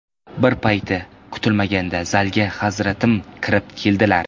Bir payt kutilmaganda zalga Hazratim kirib keldilar.